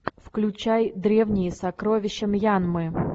включай древние сокровища мьянмы